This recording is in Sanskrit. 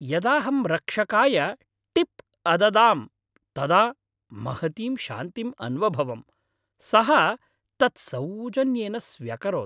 यदाहं रक्षकाय टिप् अददां, तदा महतीं शान्तिम् अन्वभवं, सः तत् सौजन्येन स्व्यकरोत्।